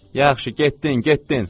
Yaxşı, getdin, getdin!